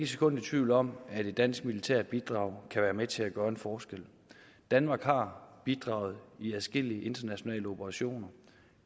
sekund i tvivl om at et dansk militært bidrag kan være med til at gøre en forskel danmark har bidraget i adskillige internationale operationer